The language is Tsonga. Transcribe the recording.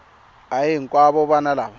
a hi hinkwavo vana lava